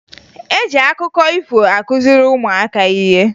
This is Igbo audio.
E ji akụkọ ifo akụziri ụmụaka ihe